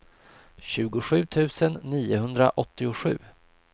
tjugosju tusen niohundraåttiosju